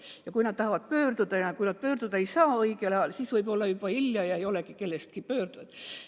Ja kui nad tahavad pöörduda, aga ei saa seda teha õigel ajal, siis võib varsti olla juba hilja, nii et ei olegi enam pöördujat.